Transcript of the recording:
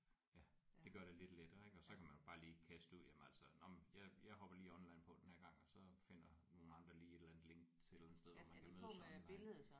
Ja det gør det lidt lettere ik og så kan man jo bare lige kaste det ud jamen altså nåh men jeg jeg hopper bare lige online på den her gang og så finder nogle andre lige et eller andet link til et eller andet sted hvor man kan mødes online